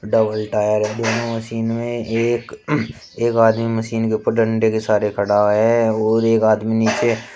double tyre है दोनों machine में एक एक आदमी मशीन के ऊपर डंडे के सहारे खड़ा है और एक आदमी नीचे--